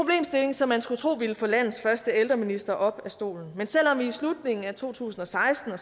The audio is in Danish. som man skulle tro ville få landets første ældreminister op af stolen men selv om vi i slutningen af to tusind og seksten og